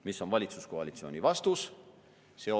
Mis on valitsuskoalitsiooni vastus?